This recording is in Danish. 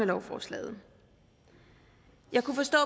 lovforslaget jeg kunne forstå